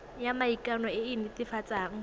ya maikano e e netefatsang